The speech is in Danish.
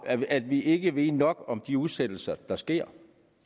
at vi ikke ved nok om de udsættelser der sker